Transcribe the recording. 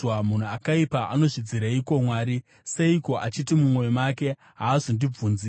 Munhu akaipa anozvidzireiko Mwari? Seiko achiti mumwoyo make, “Haazondibvunzi?”